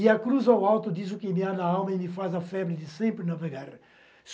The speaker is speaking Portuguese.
E a cruz ao alto diz o que enviada a alma e me faz a febre de sempre navegar.